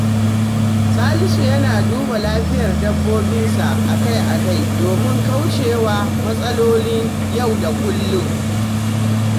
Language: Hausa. Salisu yana duba lafiyar dabbobinsa akai akai domin kauce wa matsalolin yau da kullum.